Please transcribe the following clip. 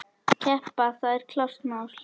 Keppa, það er klárt mál.